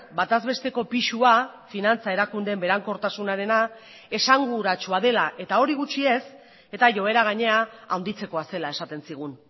bataz besteko pisua finantza erakundeen berankortasunarena esanguratsua dela eta hori gutxi ez eta joera gainera handitzekoa zela esaten zigun